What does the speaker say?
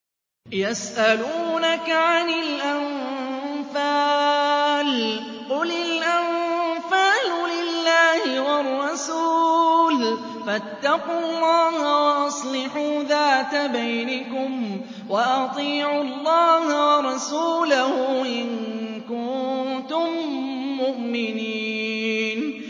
يَسْأَلُونَكَ عَنِ الْأَنفَالِ ۖ قُلِ الْأَنفَالُ لِلَّهِ وَالرَّسُولِ ۖ فَاتَّقُوا اللَّهَ وَأَصْلِحُوا ذَاتَ بَيْنِكُمْ ۖ وَأَطِيعُوا اللَّهَ وَرَسُولَهُ إِن كُنتُم مُّؤْمِنِينَ